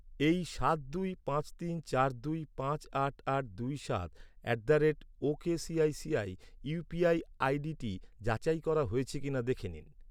এই সাত দুই পাঁচ তিন চার দুই পাঁচ আট আট দুই সাত at the rate okay ICICI UPI আইডিটি যাচাই করা হয়েছে কিনা দেখে নিন।